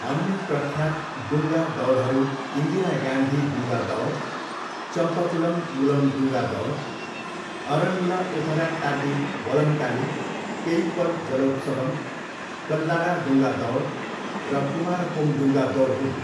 अन्य प्रख्यात डुङ्गा दौडहरू इन्दिरा गान्धी डुङ्गा दौड, चम्पकुलम मुलम डुङ्गा दौड, अरनमुला उथरट्टाडी वल्लमकाली, पेइप्पड जलोत्सवम, कल्लाडा डुङ्गा दौड र कुमारकोम डुङ्गा दौड हुन्।